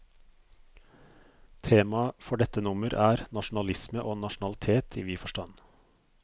Temaet for dette nummer er, nasjonalisme og nasjonalitet i vid forstand.